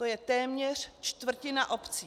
To je téměř čtvrtina obcí.